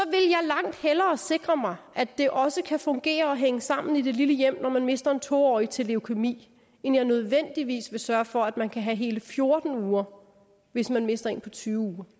langt hellere sikre mig at det også kan fungere og hænge sammen i det lille hjem når man mister en to årig til leukæmi end jeg nødvendigvis vil sørge for at man kan have hele fjorten uger hvis man mister en på tyve